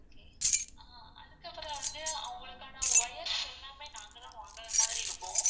ஆஹ் அதுக்கு அப்பறம் வந்து அவங்களுக்கான wires எல்லாமே நாங்க தான் வாங்குற மாதிரி இருக்கும்.